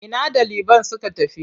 Ina ɗaliban suka tafi?